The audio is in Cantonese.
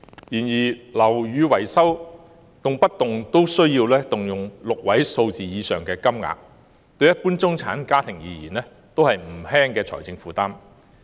然而，樓宇維修動輒需動用6位數字的金額，對一般中產家庭而言亦是不輕的財政負擔。